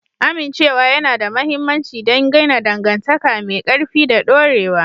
Amincewa yana da mahimmanci don gina dangantaka mai ƙarfi da dorewa.